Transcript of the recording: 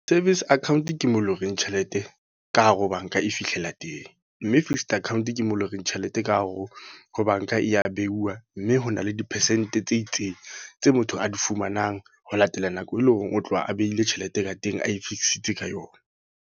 Service account ke mo loreng tjhelete, ka hare ho banka e fihlela teng. Mme fixed account ke mo loreng tjhelete ka hare ho ho banka e ya beuwa. Mme hona le di-percent tse itseng tse motho a di fumanang. Ho latela nako e leng hore o tloha a behile tjhelete ka teng. A e fix-itse ka yona.